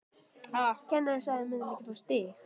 En hvað er hægt að gera?